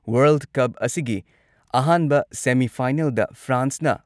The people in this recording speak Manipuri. ꯋꯔꯜꯗ ꯀꯞ ꯑꯁꯤꯒꯤ ꯑꯍꯥꯟꯕ ꯁꯦꯃꯤ-ꯐꯥꯏꯅꯦꯜꯗ ꯐ꯭ꯔꯥꯟꯁꯅ